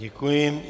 Děkuji.